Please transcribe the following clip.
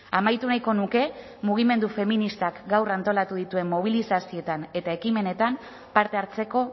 amaitu nahiko nuke mugimendu feministak gaur antolatu dituen mobilizazioetan eta ekimenetan parte hartzeko